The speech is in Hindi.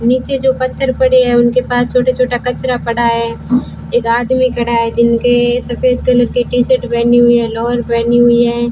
नीचे जो पत्थर पड़े है उनके पास छोटे छोटे कचरा पड़ा है एक आदमी खड़ा है जिनके सफेद कलर के टी शर्ट पहनी हुई है लोवर पहनी हुई है।